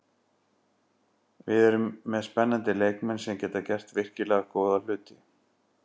Við erum með spennandi leikmenn sem geta gert virkilega góða hluti.